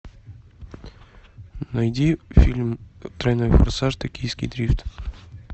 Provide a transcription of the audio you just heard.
найди фильм тройной форсаж токийский дрифт